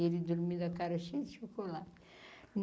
Ele dormindo a cara cheia de chocolate.